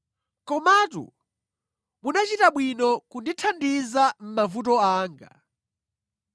Komatu munachita bwino kundithandiza mʼmavuto anga.